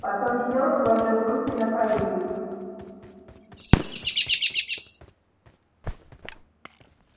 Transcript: потом сел сложив руки на коленях